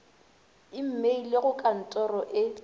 imeile go ka ntoro e